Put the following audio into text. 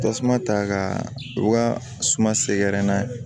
Tasuma ta ka u ka suma sɛgɛrɛ n'a ye